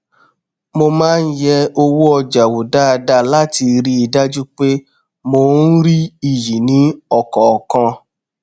mo má n yẹ owó ọjà wò dáadáa láti rí i dájú pé mò n rí iyì ní ọkọọkan